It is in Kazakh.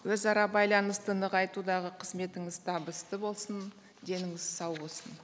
өзара байланысты нығайтудағы қызметіңіз табысты болсын деніңіз сау болсын